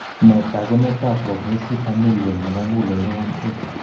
Nee taakunetaab progressive familial nebo muguleldo 1A?